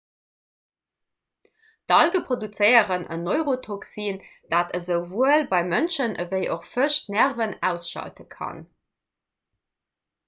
d'alge produzéieren en neurotoxin dat esouwuel bei mënschen ewéi och fësch d'nerven ausschalte kann